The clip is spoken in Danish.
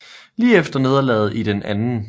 Lige efter nederlaget i den 2